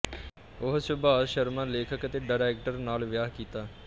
ਉਹ ਸੁਭਾਸ਼ ਸ਼ਰਮਾ ਲੇਖਕ ਅਤੇ ਡਾਇਰੈਕਟਰ ਨਾਲ ਵਿਆਹੀ ਕੀਤਾ